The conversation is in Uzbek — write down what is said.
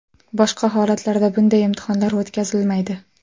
Boshqa holatlarda bunday imtihonlar o‘tkazilmaydi.